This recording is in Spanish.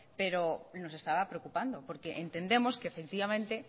pero nos estaba preocupando porque entendemos que efectivamente